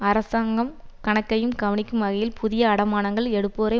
அரசாங்கம் கணக்கையும் கவனிக்கும் வகையில் புதிய அடைமானங்கள் எடுப்போரை